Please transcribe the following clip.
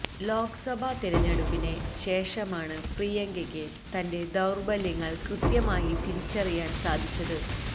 ലോക്സഭാ തിരഞ്ഞെടുപ്പിന് ശേഷമാണ് പ്രിയങ്കയ്ക്ക് തന്റെ ദൌര്ബല്യങ്ങള് കൃത്യമായി തിരിച്ചറിയാന് സാധിച്ചത്